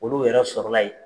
Olu yɛrɛ sɔrɔla yen.